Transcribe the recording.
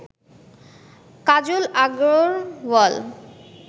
Kajal Agarwal